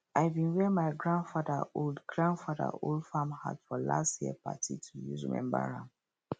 i bin wear my grandfather old grandfather old farm hat for last year party to use remember am